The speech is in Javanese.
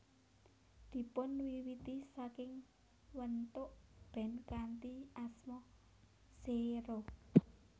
Dipunwiwiti saking wentuk band kanthi asma Xero